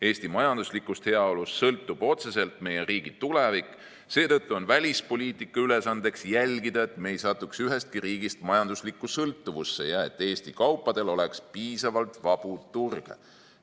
Eesti majanduslikust heaolust sõltub otseselt meie riigi tulevik, seetõttu on välispoliitika ülesandeks jälgida, et me ei satuks ühestki riigist majanduslikku sõltuvusse ja et Eesti kaupadel oleks piisavalt vabu turge.